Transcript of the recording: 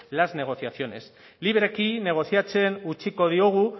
las negociaciones libreki negoziatzeen utziko diogu